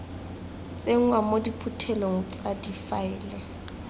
tsenngwa mo diphuthelong tsa difaele